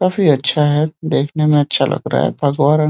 काफी अच्छा है। देखने में अच्छा लग रहा है। भगवा रंग --